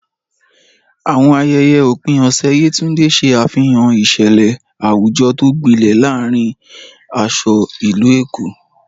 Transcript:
Àwọn ayẹyẹ òpin ọ̀sẹ̀ Yetunde ṣe àfihàn ìṣẹ̀lẹ̀ àwùjọ tó gbilẹ̀ láàárín aṣọ ìlú Èkó.